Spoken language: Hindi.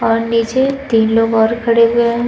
और नीचे तीन लोग और खड़े हुए हैं।